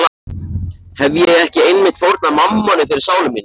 Hefi ég ekki einmitt fórnað mammoni fyrir sálu mína?